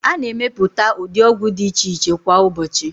A na-emepụta ụdị ọgwụ dị iche iche kwa ụbọọchị.